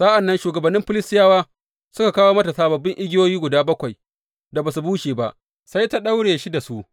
Sa’an nan shugabannin Filistiyawa suka kawo mata sababbin igiyoyi guda bakwai da ba su bushe ba, sai ta daure shi da su.